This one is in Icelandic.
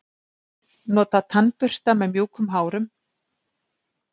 Nota tannbursta með mjúkum hárum.